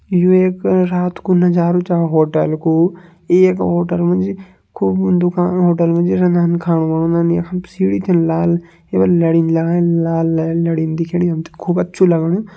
यु एक रात को नजारु छ होटल कू। एक होटल मजी खूब उन दुकान होटल मजी रंदन खाणु बाणोदन। यखम सीड़ी थें लाल केवल लड़िन लगान लाल ल लड़ीन दिखेणि हमते खूब अच्छू लगणु।